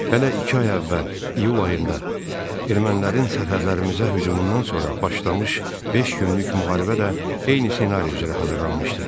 Hələ iki ay əvvəl, iyul ayında ermənilərin sərhədlərimizə hücumundan sonra başlamış beş günlük müharibə də eyni ssenari üzrə hazırlanmışdı.